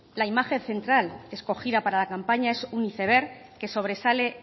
la imagen central escogida para la campaña es un iceberg que sobresale